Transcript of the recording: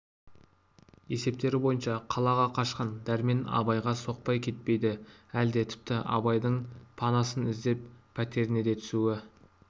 есептері бойынша қалаға қашқан дәрмен абайға соқпай кетпейді әлде тіпті абайдың панасын іздеп пәтеріне де түсуі